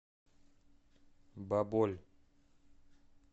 баболь